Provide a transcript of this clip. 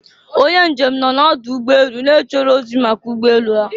Onye njem nọ n'ọdụ ụgbọ elu, na-echere ozi maka ụgbọ elu ha